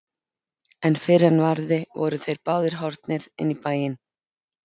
En fyrr en varði voru þeir báðir horfnir inn í bæinn.